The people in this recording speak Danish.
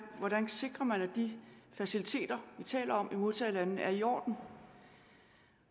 hvordan sikrer man at de faciliteter vi taler om i modtagerlandene er i orden